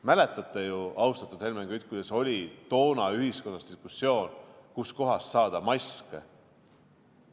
Mäletate ju, austatud Helmen Kütt, kuidas oli toona ühiskonnas diskussioon, kus kohast saada maske?